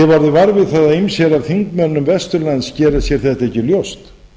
ég hef orðið var við það að ýmsir af þingmönnum vesturlands gera sér þetta ekki ljóst